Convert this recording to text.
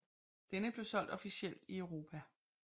Denne blev solgt officielt i Europa